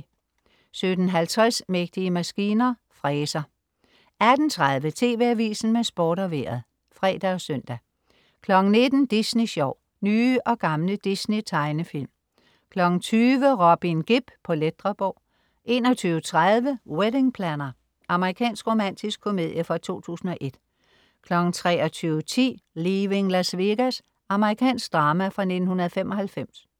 17.50 Mægtige maskiner. Fræser 18.30 TV Avisen med Sport og Vejret (fre og søn) 19.00 Disney Sjov. Nye og gamle Disney-tegnefilm 20.00 Robin Gibb på Ledreborg 21.30 Wedding Planner. Amerikansk romantisk komedie fra 2001 23.10 Leaving Las Vegas. Amerikansk drama fra 1995